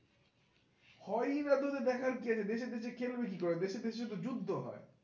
হয়নি দেখার কি আছে দেশে দেশে খেলবে কি করে, দেশে তো যুদ্ধ হয়